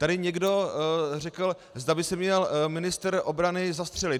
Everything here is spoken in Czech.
Tady někdo řekl, zda by se měl ministr obrany zastřelit.